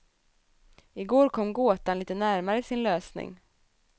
I går kom gåtan lite närmare sin lösning.